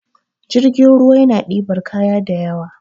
jirgin ruwa yana dibar kaya da ywa